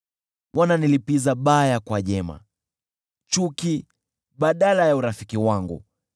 Wananilipiza mabaya kwa mema, chuki badala ya urafiki wangu.